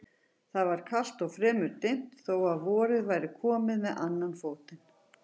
Það var kalt og fremur dimmt þó að vorið væri komið með annan fótinn.